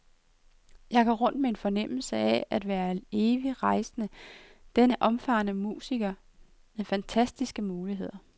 Jeg går rundt med en fornemmelse af at være en evig rejsende, denne omfarende musiker med fantastiske muligheder.